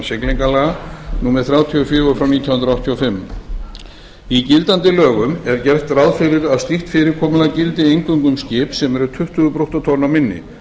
siglingalaga númer þrjátíu og fjögur nítján hundruð áttatíu og fimm í gildandi lögum er gert ráð fyrir að slíkt fyrirkomulag gildi eingöngu um skip sem eru tuttugu brúttótonn og minni